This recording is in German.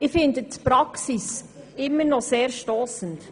Ich finde die Praxis immer noch sehr stossend.